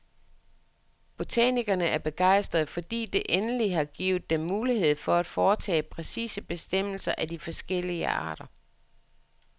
Botanikerne er begejstrede, fordi det endelig har givet dem mulighed for at foretage præcise bestemmelser af de forskellige arter.